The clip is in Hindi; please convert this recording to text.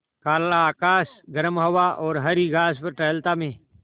काला आकाश गर्म हवा और हरी घास पर टहलता मैं